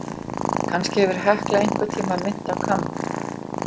Kannski hefur Hekla einhvern tíma minnt á kamb.